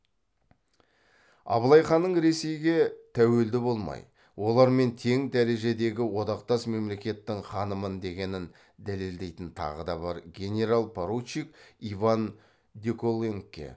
абылай ханның ресейге тәуелді болмай олармен тең дәрежедегі одақтас мемлекеттің ханымын дегенін дәлелдейтін тағы да бар генерал поручик иван деколонгке